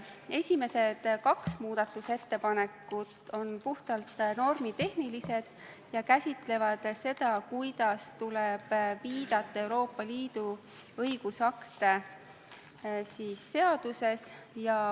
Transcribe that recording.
Esimesed kaks muudatusettepanekut on puhtalt normitehnilised ja käsitlevad seda, kuidas tuleb seaduses viidata Euroopa Liidu õigusaktidele.